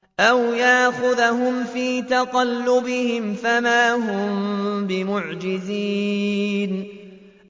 أَوْ يَأْخُذَهُمْ فِي تَقَلُّبِهِمْ فَمَا هُم بِمُعْجِزِينَ